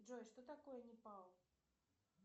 джой что такое непал